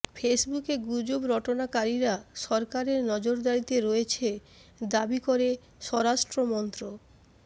ফেসবুকে গুজব রটনাকারীরা সরকারের নজরদারিতে রয়েছে দাবি করে স্বরাষ্ট্রমন্ত